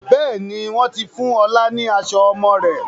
Bẹ́ẹ̀ni, wọn ti fún ọ̀la ni aṣọ ọmọ rẹ̀